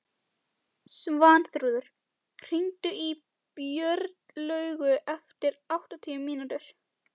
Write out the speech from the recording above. Svanþrúður, hringdu í Björnlaugu eftir áttatíu mínútur.